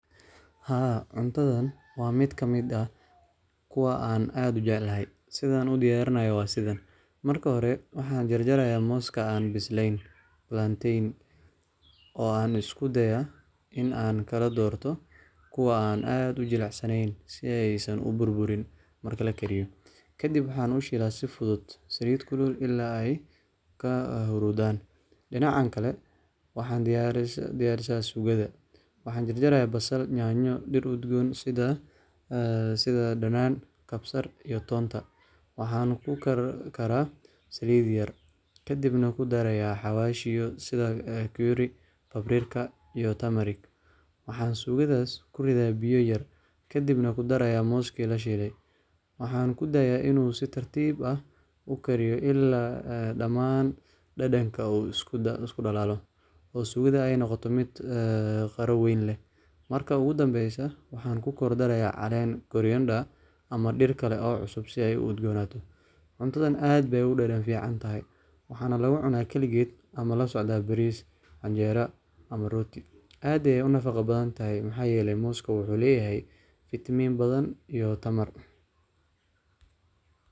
Haa cuntathan wa meetkamit ah kuwa AA ad ujecalahy setha udiyarinayo wa sithan, marki hori waxa jarjarayah moska an bisleen oo an iskudaaya in AA kaladortoh kuwa AA ad ujelcsaneyn siyasan uburburin marki lagariyoh. Kadib waxa u sheelahbsi futhut saalit kulul ila ka horthan dinaca Kali waxan diyarsanaya sugatha wax jarjarayah basal nyanya toon sitha danana kabar, iyo toonta waxa kukarkarah saalit yar kadinah kidarah xawaysha sitha bakeera ebriqa iyo taamoos, wax sugathasi kurithaya biya yar kadinah kudaraya mosska lashelay, wax kudaraya in si taartib aah kikariyoh ila dhaman danadngag isku dalalih oo sugatha aynoqotoh mid qariweyn leeh, marka kudambeysoh wax ku kordaya calan koroyandaya amah derkali oo cusub setha ay u udgonatoh cuntathan aad Aya u dadan ficantahay waxan laga cunah kaligeet amah kasocdah baris canjeera amah rooti, aad Aya unafaqa bathantayah maxayeelay mosska waxuleyahay vitamin iyo Tamar .